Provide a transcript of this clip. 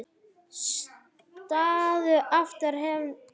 Staður athvarf heima telst.